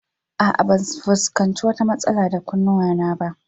A'a, ban fuskanci wata matsala da kunnuwana ba